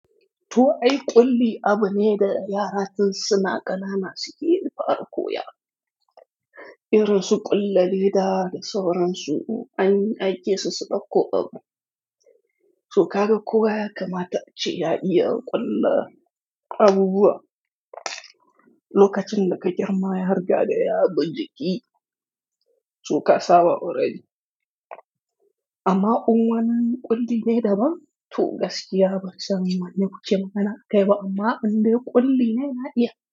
Tu ai ƙulli abu ne da yara tun suna ƙanana suke fara koya Ira su ƙulla leɗa da sauransu, anyi aikisu su ɗauko abu. To kaga kowa ya kamata a ci ya iya ƙulla abubuwa. Lokacin da ka girma yarigade ya bi jiki, su ka saba already amma uwanan ƙulli ne daban. To gaskiya ba san wanne kuke magana a kai ba amma indai ƙulli ne na iya.